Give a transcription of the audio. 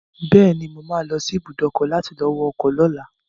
Bẹ́ẹ̀ni, mo ma lọ sí ibùdó ọkọ̀ láti lọ wọ ọkọ̀ lọ́la